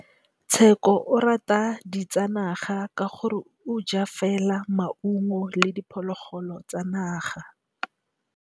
Tshekô o rata ditsanaga ka gore o ja fela maungo le diphologolo tsa naga.